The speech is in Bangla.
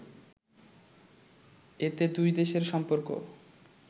এতে দুই দেশের সম্পর্ক